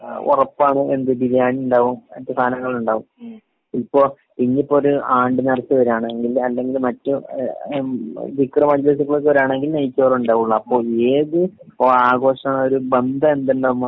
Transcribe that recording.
ഉറപ്പാണ് എന്ത്‌? ബിരിയാണി ഇണ്ടാവും മറ്റു സാനങ്ങള് ഉണ്ടാവും. യിപ്പി ഇന്നിപ്പൊരു ആണ്ട് നീർച വരാണെകിൽ അല്ലെങ്കിൽ മറ്റു ആഹ് ആ ദിക്ർ മജിലിസുകളൊക്കെ വരാണെങ്കിൽ നൈചോറ് ഇണ്ടാവൊള്ളൂ. അപ്പൊ ഏത് ഇപ്പൊ ആഘോഷങ്ങളെ ഒരു ബന്ധം എന്തിന്നെ